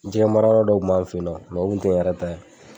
jɛgɛmarayɔrɔ dɔ kun b'an feyinɔ o kun tɛ n yɛrɛ ta ye.